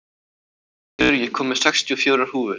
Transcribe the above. Hleiður, ég kom með sextíu og fjórar húfur!